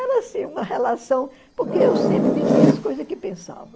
Era assim, uma relação, porque eu sempre dizia as coisas que pensava.